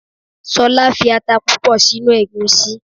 Solá fi ata púpò si inú ègúsí